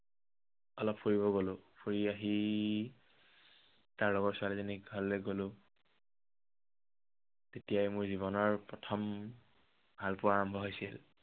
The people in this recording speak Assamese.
অলপ ফুৰিব গ'লো, ফুৰি আহি তাৰ লগৰ ছোৱালীজনীৰ ঘৰলৈ গ'লো। তেতিয়াই মোৰ জীৱনৰ প্ৰথম ভালপোৱা আৰম্ভ হৈছিল।